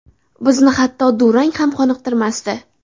Bizni hatto durang ham qoniqtirmasdi.